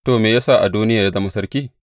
To, me ya sa Adoniya ya zama sarki?’